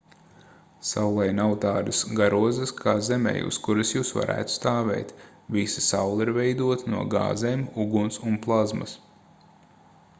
saulei nav tādas garozas kā zemei uz kuras jūs varētu stāvēt visa saule ir veidota no gāzēm uguns un plazmas